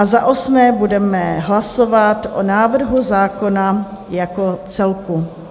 A za osmé budeme hlasovat o návrhu zákona jako celku.